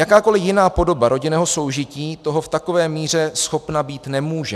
Jakákoli jiná podoba rodinného soužití toho v takové míře schopna být nemůže.